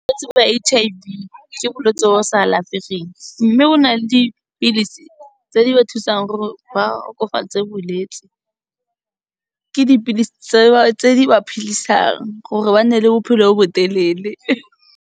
Bolwetsi ba H_I_V, ke bolwetsi bo bo sa alafegeng mme bo na le dipilisi tse di ba thusang gore ba okofatse bolwetsi, ke dipilisi tseo, tse di ba phidisang, gore ba nne le bophelo bo bo telele.